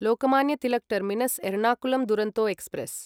Lokmanya Tilak Terminus Ernakulam Duronto express